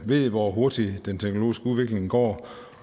ved hvor hurtigt den teknologiske udvikling går